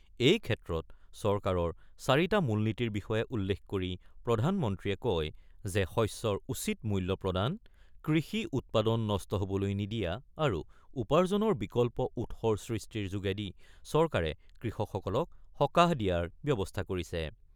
এই ক্ষেত্ৰত চৰকাৰৰ চাৰিটা মূল নীতিৰ বিষয়ে উল্লেখ কৰি প্ৰধানমন্ত্ৰীয়ে কয় যে শস্যৰ উচিত মূল্য প্ৰদান, কৃষি উৎপাদন নষ্ট হ'বলৈ নিদিয়া আৰু উপাৰ্জনৰ বিকল্প উৎসৰ সৃষ্টিৰ যোগেদি চৰকাৰে কৃষকসকলক সকাহ দিয়াৰ ব্যৱস্থা কৰিছে।